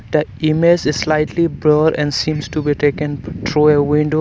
that image is slightly blurred and seems to be taken through a window